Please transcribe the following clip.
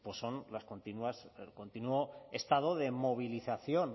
pues son las continuas el continuo estado de movilización